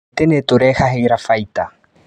Mĩtĩ nĩtũrehagĩra baita.